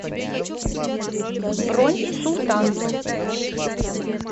бронь султан